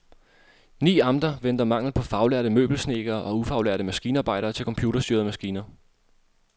Ni amter venter mangel på faglærte møbelsnedkere og ufaglærte maskinarbejdere til computerstyrede maskiner.